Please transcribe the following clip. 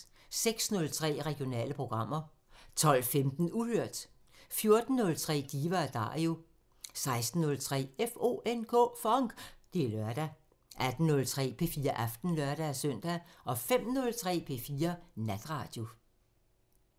06:03: Regionale programmer 12:15: Uhørt 14:03: Diva & Dario 16:03: FONK! Det er lørdag 18:03: P4 Aften (lør-søn) 05:03: P4 Natradio